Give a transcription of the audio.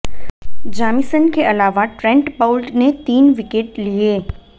Jameson के अलावा Trent Boult ने तीन विकेट लिए